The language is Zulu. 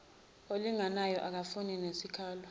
olinganayo akufani nesikalo